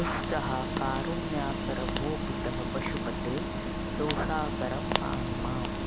दुःसहाः कारुण्याकर भो पितः पशुपते दोषाकरं पाहि माम्